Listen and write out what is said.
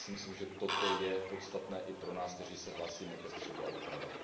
Já si myslím, že toto je podstatné i pro nás, kteří se hlásíme ke středu a doprava.